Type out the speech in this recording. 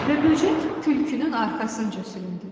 Və böcək tülkünün arxasınca süründü.